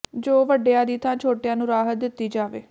ਜੋ ਵਡਿਆਂ ਦੀ ਥਾਂ ਛੋਟਿਆਂ ਨੂੰ ਰਾਹਤ ਦਿਤੀ ਜਾਵੇ